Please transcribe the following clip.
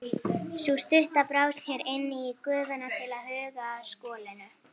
Sú stutta brá sér inn í gufuna til að huga að skolinu.